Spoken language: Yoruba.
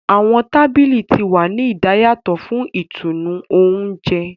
Awọn tábìlì tí wá ní idayatọ fún ìtùnú oúnjẹ.